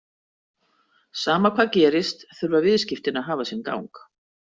Sama hvað gerist þurfa viðskiptin að hafa sinn gang.